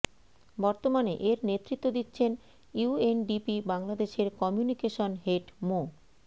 বর্তমানে এর নেতৃত্ব দিচ্ছেন ইউএনডিপি বাংলাদেশের কমিউনিকেশন হেড মো